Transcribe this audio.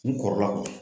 N kɔrɔla